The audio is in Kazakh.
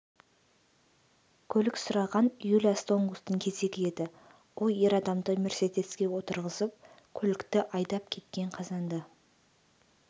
көлік сұраған юлия стонкустың кезегі еді ол ер адамды мерседеске отырғызып көлікті айдап кеткен қазанда